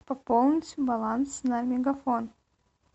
пополнить баланс на мегафон